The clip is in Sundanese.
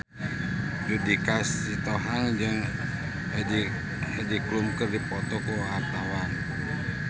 Judika Sitohang jeung Heidi Klum keur dipoto ku wartawan